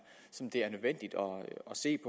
som det er nødvendigt at se